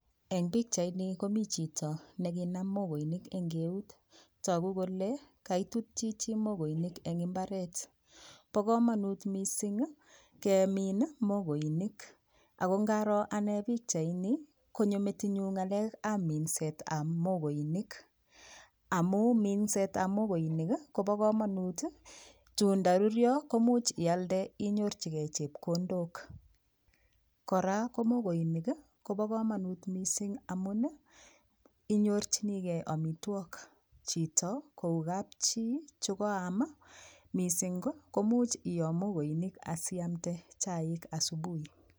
Eng pikchaini komi chito nekinam mokoinik eng keut toku kole kaitut chichi mokoinik eng imbaret bo komonut mising kemin mokoining ako ngaroo anee pikchaini konyo metinyu ngalek ab minset ab mokoinik amu minset ab mokoinik Kobo komonu tuun ndarurio Komuch ialde inyorchigei chepkondok kora ko mokoinik kobo kamanut mising amun inyorchigei omitwok chito kou kapchii chikoam mising komuch iyoo mokoinik asioamde chaik asubui.